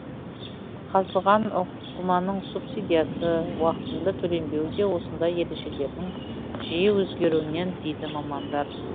қазылған ұңғыманың субсидиясы уақытында төленбеуі де осындай ережелердің жиі өзгеруінен дейді мамандар